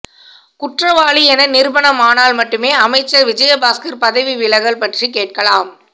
குற்றவாளி என நிரூபணமானால் மட்டுமே அமைச்சர் விஜயபாஸ்கர் பதவி விலகல் பற்றி கேட்கலாம்